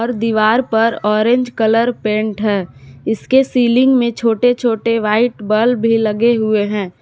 दीवार पर orange colour paint है इसके सीलिंग में छोटे छोटे व्हाइट बल्ब भी लगे हुए हैं।